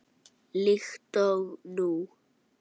Líkt og nú.